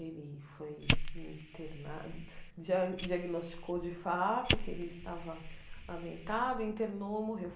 Ele foi internado, diag diagnosticou de fato que ele estava, internou, morreu.